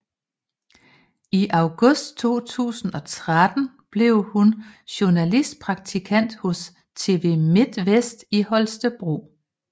I august 2013 blev hun journalistpraktikant hos TV Midtvest i Holstebro